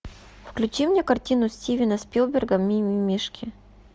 включи мне картину стивена спилберга мимимишки